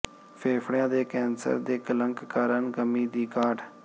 ਫੇਫੜਿਆਂ ਦੇ ਕੈਂਸਰ ਦੇ ਕਲੰਕ ਕਾਰਨ ਕਮੀ ਦੀ ਘਾਟ